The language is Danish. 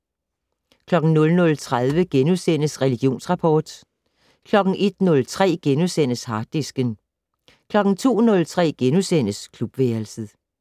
00:30: Religionsrapport * 01:03: Harddisken * 02:03: Klubværelset *